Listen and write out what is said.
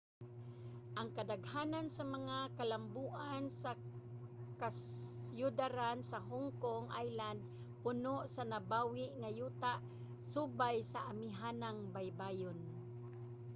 ang kadaghanan sa mga kalamboan sa kasyudaran sa hong kong island puno sa nabawi nga yuta subay sa amihanang baybayon